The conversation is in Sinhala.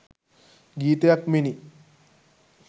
ගීතයක් මෙනි.